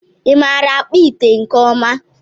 ịmara akpụ ite nke ọma